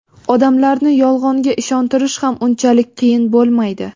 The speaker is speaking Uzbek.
odamlarni Yolg‘onga ishontirish ham unchalik qiyin bo‘lmaydi.